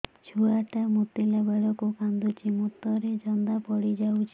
ଛୁଆ ଟା ମୁତିଲା ବେଳକୁ କାନ୍ଦୁଚି ମୁତ ରେ ଜନ୍ଦା ପଡ଼ି ଯାଉଛି